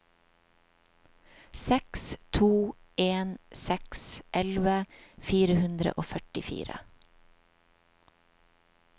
seks to en seks elleve fire hundre og førtifire